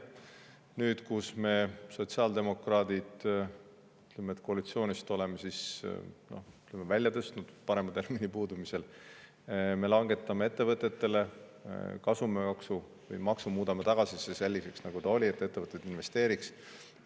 Nüüd, kus me oleme sotsiaaldemokraadid koalitsioonist – parema termini puudumisel ütleme – välja tõstnud, langetame ettevõtete kasumimaksu, muudame selle maksu tagasi selliseks, nagu see oli, et ettevõtted investeeriksid.